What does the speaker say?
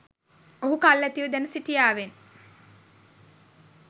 ඔහු කල් ඇතිව දැන සිටියාවෙන්.